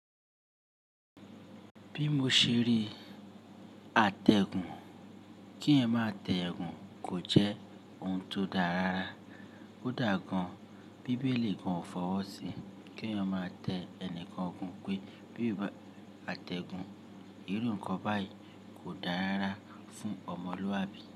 Bí mo ṣe rí àtẹ̀gùn, kí ẹ̀eyan ma tẹ gùn kò jẹ́ ohun tó dáa rara. Ó dà gan-Bíbélì gan ò fọwọ́ sí kí eeyan má tẹ ẹnìkan gùn pé bí àtẹ̀gùn, irú nǹkan báyìí kò dáa rara fún ọmọ Olúwa bí.